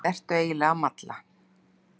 Hvað ertu eiginlega að malla?